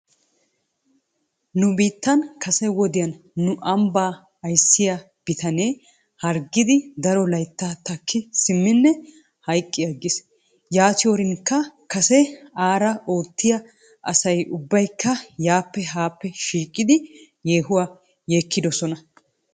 Nu biittan kase wodiyan nu ambbaa ayssiyaa bitanee hargiidi daro layttaa takki simmine hayqqi aggis. Yaatiyoorinkka kase aara oottiyaa asay ubbaykka yaappe haape shiiqettidi yeehuwaa gakkidosona.